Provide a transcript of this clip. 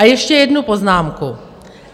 A ještě jednu poznámku.